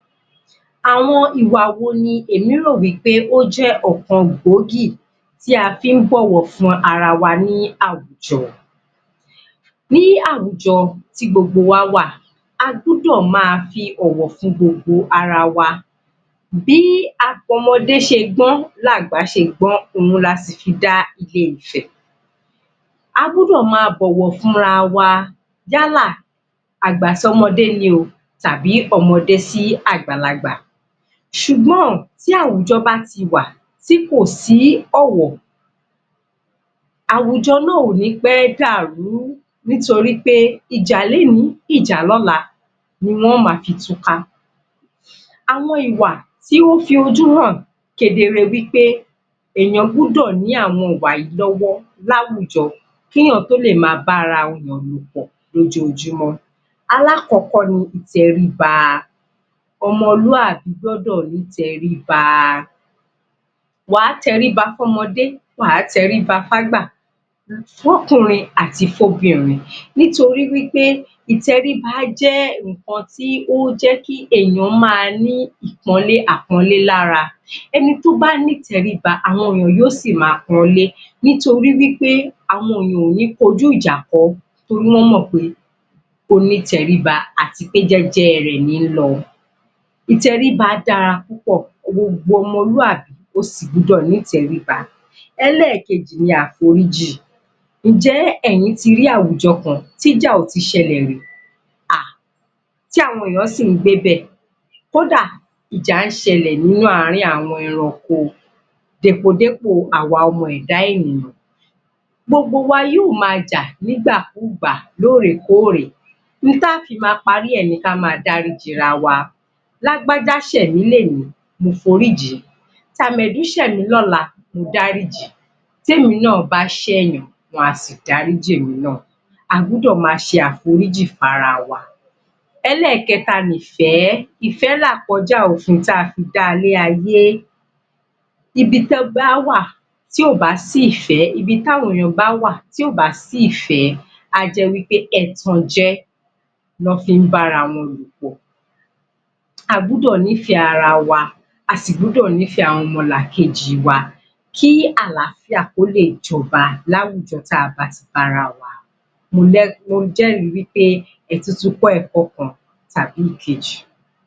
Àwọn ìwà wo ni èmi rò wí pé ó jẹ́ ọ̀kan gbòógì tí a fi ń bọ̀wọ̀ fún ara wa ní àwùjọ. Ní àwùjọ tí gbogbo wá wà, a gbọ́dọ̀ máa fi ọ̀wọ̀ fún gbogbo ara wa bí ọmọdé ṣe gbọ́n l'àgbà ṣe gbọ́n, la sì fi dá ilé-ifẹ̀. A gbọ́dọ̀ máa bọ̀wọ̀ fúnra wa yálà àgbà s'ọ́mọdé ni o tàbí ọmọdé sí àgbàlagbà ṣùgbọ́n tí àwùjọ bá ti wà tí kò sí ọ̀wọ̀ àwùjọ náà ò ní pẹ́ dàrú nítorí wí pé, ìjà lénìí, ìjà lọ́la ni wọ́n máa fi túká. Àwọn ìwà tí ó fi ojú hàn kedere wí pé èèyàn gbọ́dọ̀ ní àwọn ìwà yìí lọ́wọ́ láwùjọ kí èèyàn tó lè máa bá ara èèyàn lòpọ̀ lójọjúmọ́. Alákọ̀ọ́kọ́ ni ìteríba, ọmọlúàbí gbọ́dọ̀ ní ìtẹríba wà á tẹríba fún ọmọdé, wà á tẹríba f'ágbà s'ọ́kùnrin àti f'óbìnrin nítorí wí pé ìtẹríba jẹ́ ǹnkan tí ó jẹ́ kí èèyàn máa ni àpọ́nlé lára Ẹni tí ó bá ní ìtẹríba, àwọn èèyàn á sì máa pọnlé nítorí wí pé àwọn èèyàn ò ní máa kọjú ìjà kọ ọ́ torí wọ́n mọ̀ pé ó ní ìtẹríba àti pé jẹ́jẹ́ rẹ̀ ní lọ ìtẹríba dára púpọ̀, gbogbo ọmọlúàbí o sì gbọ́dọ̀ ní ìtẹríba. Ẹlẹ́kejì ni àforíjì ǹjẹ́ ẹ̀yin ti rí àwùjọ kan t'íjà ò ti ṣẹlẹ̀ rí? um tí àwọn èèyàn sí ń gbé bẹ̀ kódà ìjà ń ṣẹlè nínú àwọn ẹranko dépò-dépò àwa ọmọ ẹ̀dá èèyàn gbogbo wa yóò máa jà nígbàkugbà, lórèkóòrè ohun tí á fi máa parí rẹ̀ ni ká máa dáríjì ara wa, lágbájá ṣè mí lénìí mo foríjìí, tàmẹ̀dú ṣẹ̀ mí lọ́la mo dáríjì tí èmi náà bá ṣẹ̀ yàn wá sì dáríjì èmi náà a gbọ́dọ̀ máa ṣe àforíji fún ara wa. Ẹlẹ́kẹ́ta ni ìfẹ́, ìfẹ́ ni àkọjá òfin tí a fi dá ilé-ayé níbi tó bá wà tí ò bá sí ìfẹ, ibi tí àwọn èèyàn bá wà tí ò bá sí ìfẹ a ́ jẹ́ wí pé ẹ̀tànjẹ lọ́ fí ń bárawọn lòpọ̀ a gbọ́dọ̀ nífèé a sì gb́ọdọ̀ nífẹ àwọn ọmọlàkejì wa kí àlááfíà kó lè jọba láwujọ tí a bá ti bára wa mo jẹ́rìí wí pé ẹ tún tun kọ́ ẹ̀kọ tàbí ìkejì.